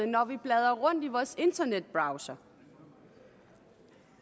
når vi bladrer rundt i vores internetbrowser